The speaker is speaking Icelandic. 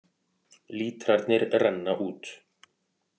Lítrarnir renna út